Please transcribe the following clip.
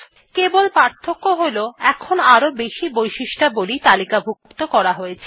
কেবল পার্থক্য হল এখন আরও বেশি বৈশিষ্ট্যাবলী তালিকাভুক্ত করা হয়েছে